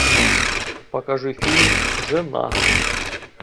покажи фильм жена